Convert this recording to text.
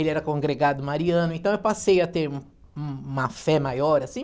Ele era congregado mariano, então eu passei a ter um uma fé maior, assim,